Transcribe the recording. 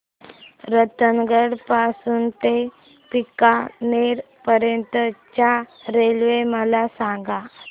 रतनगड पासून ते बीकानेर पर्यंत च्या रेल्वे मला सांगा